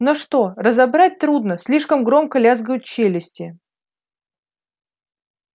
но что разобрать трудно слишком громко лязгают челюсти